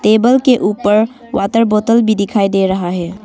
Table के ऊपर water bottle भी दिखाई दे रहा है।